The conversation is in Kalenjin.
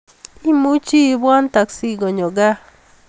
Imuchi ibwan taksi konyo gaa